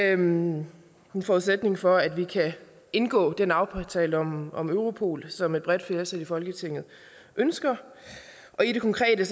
er en forudsætning for at vi kan indgå den aftale om om europol som et bredt flertal i folketinget ønsker i det konkrete